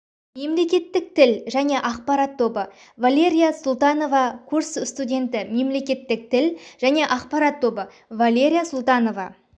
мемлекеттік тіл және ақпарат тобы валерия султанова курс студенті мемлекеттік тіл және ақпарат тобы валерия султанова